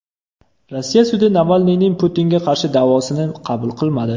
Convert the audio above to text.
Rossiya sudi Navalniyning Putinga qarshi da’vosini qabul qilmadi.